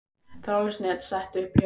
Þráðlaust net sett upp í Hörpu